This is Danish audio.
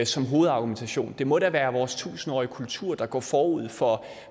som hovedargumentation det må da være vores tusindårige kultur der går forud for